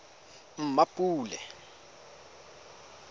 mmapule